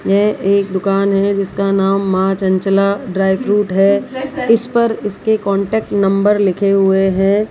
यह एक दुकान है जिसका नाम मां चंचला ड्राई फ्रूट है इस पर इसके कांटेक्ट नंबर लिखे हुए हैं।